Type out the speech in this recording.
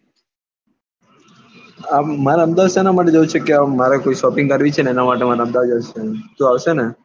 માર અમદાવાદ સેના માટે જવું છે કે મારે કોઈ shopping કરવી છે ને એના માટે માર અમદાવાદ જવું છે તું આવશે ને?